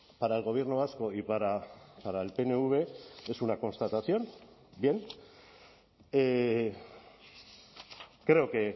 para el gobierno vasco y para el pnv es una constatación bien creo que